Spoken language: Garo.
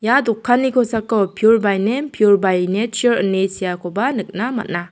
ia dokanni kosako piur bai nem piur bai nechar ine seakoba nikna man·a.